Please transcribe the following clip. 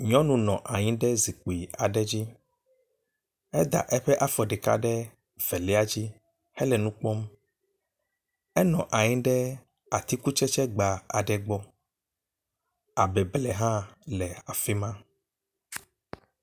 Nyɔnu nɔ anyi ɖe zikpui aɖe dzi. eda eƒe afɔ ɖeka ɖe velia dzi henɔ nu kpɔm. Enɔ anyi ɖe atikutsetse gba aɖe gbɔ abe ble hã le afi ma.